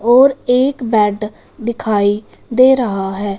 और एक बेड दिखाई दे रहा है।